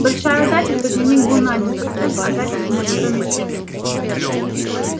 большая удача что дневник был найден прочтён а записи в нём потом исчезли